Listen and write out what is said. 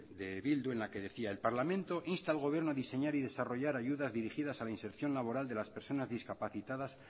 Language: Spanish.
de bildu en la que decía el parlamento insta al gobierno a diseñar y desarrollar ayudas dirigidas a la inserción laboral de las personas discapacitadas